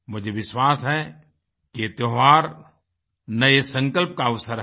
मुझे विश्वास है कि यह त्योहार नए संकल्प का अवसर है